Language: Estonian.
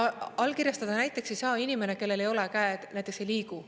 Allkirjastada näiteks ei saa inimene, kellel ei ole, käed näiteks ei liigu.